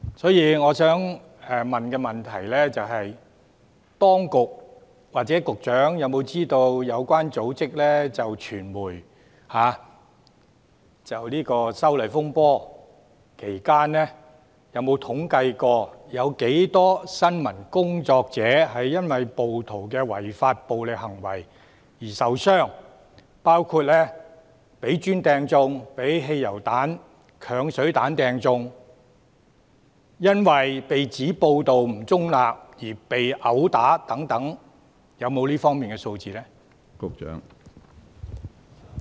所以，我想問當局或局長是否知悉，有關組織有否統計在修例風波期間，有多少新聞工作者因為暴徒的違法暴力行為而受傷？包括被磚擲中、被汽油彈、鏹水彈擲中、因為被指報道不中立而被毆打等，當局是否有這方面的數字呢？